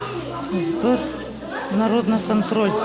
сбер народный контроль